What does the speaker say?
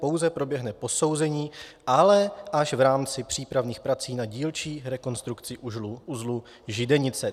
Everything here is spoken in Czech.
Pouze proběhne posouzení, ale až v rámci přípravných prací na dílčí rekonstrukci uzlu Židenice.